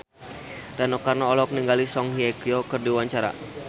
Rano Karno olohok ningali Song Hye Kyo keur diwawancara